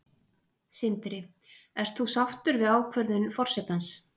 Sindri: Ert þú sáttur við ákvörðun forsetans?